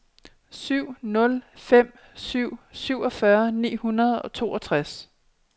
syv nul fem syv syvogfyrre ni hundrede og toogtres